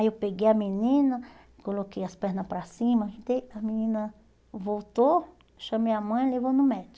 Aí eu peguei a menina, coloquei as pernas para cima, a menina voltou, chamei a mãe e levou no